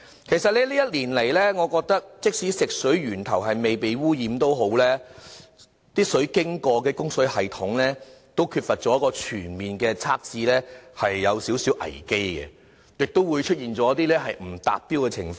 其實這一年來，即使食水源頭未被污染，但食水經過的供水系統缺乏全面測試，的確存在一點危機，亦會出現不達標的情況。